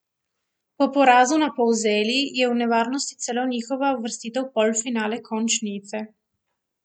Po porazu na Polzeli je v nevarnosti celo njihova uvrstitev v polfinale končnice.